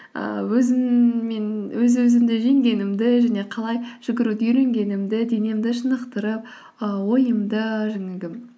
ыыы өзім мен өз өзімді жеңгенімгі және қалай жүгіруді үйренгенімді денемді шынықтырып ы ойымды жаңағы